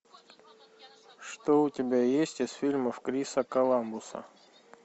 что у тебя есть из фильмов криса каламбуса